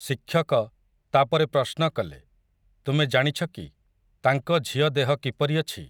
ଶିକ୍ଷକ, ତା'ପରେ ପ୍ରଶ୍ନ କଲେ, ତୁମେ ଜାଣିଛ କି, ତାଙ୍କ ଝିଅ ଦେହ କିପରି ଅଛି ।